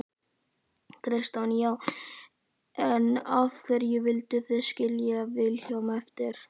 Kristján: Já, en af hverju vildu þið skilja Vilhjálm eftir?